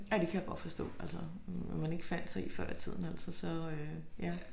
Ja det kan jeg godt forstå altså hvad man ikke fandt sig i før i tiden altså så øh ja